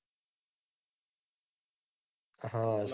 હા સાચી વાત